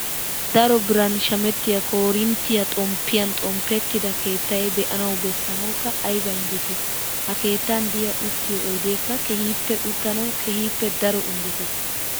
Daro biran shamettiyaa koorinttiyaa xomppiyan xomppettida keettayi be'anawu beessanawukka ayiba injjetii. Ha keettan diyaa uttiyoo oyideeka keehippe uttanawu keehippe daro injjetes.